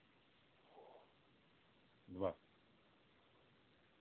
два